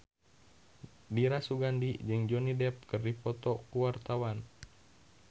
Dira Sugandi jeung Johnny Depp keur dipoto ku wartawan